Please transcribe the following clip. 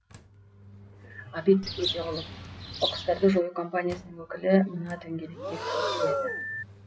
ғабит өтеғұлов қоқыстарды жою компаниясының өкілі мына дөңгелектер кесіледі